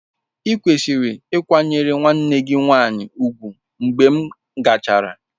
Ịkwesịrị ịkwanyere nwanne gị nwanyị ùgwù mgbe m gachara.